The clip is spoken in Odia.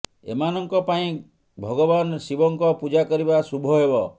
ଏମାନଙ୍କ ପାଇଁ ଭଗବାନ ଶିବଙ୍କ ପୂଜା କରିବା ଶୁଭ ହେବ